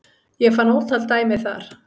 Ég fann ótal dæmi þar